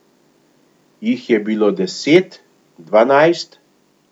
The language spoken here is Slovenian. Jih je bilo deset, dvanajst?